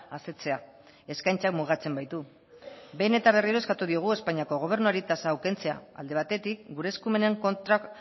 asetzea eskaintza mugatzen baitu behin eta berriro eskatu digu espainiako gobernuari tasa hau kentzea alde batetik gure eskumenen kontra